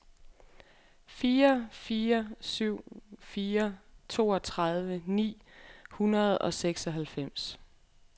fire fire syv fire toogtredive ni hundrede og seksoghalvfems